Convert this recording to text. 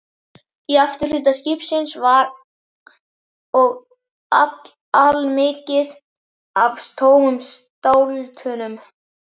Í afturhluta skipsins var og allmikið af tómum stáltunnum.